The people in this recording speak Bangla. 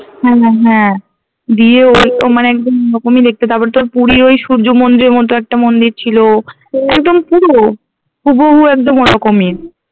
হম হম হ্যাঁ দিয়ে ওই তো মানে একদম ওরকমই দেখতে তারপর তোর পুরীর ওই সূর্য মন্দিরের মতো একটা মন্দির ছিল একদম পুরো হুবহু একদম ওরকমই